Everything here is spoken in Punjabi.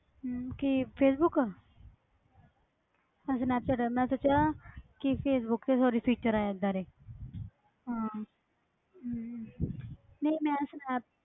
ਹਮ ਕੀ ਫੇਸਬੁੱਕ ਅੱਛਾ ਸਨੈਪਚੈਟ ਮੈਂ ਸੋਚਿਆ ਕਿ ਫੇਸਬੁੱਕ ਤੇ sorry feature ਆਏ ਆ ਏਦਾਂ ਦੇ ਹਾਂ ਹਮ ਨਹੀਂ ਮੈਂ ਸਨੈਪ~